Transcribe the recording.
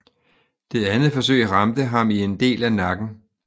Det andet forsøg ramte ham i en del af nakken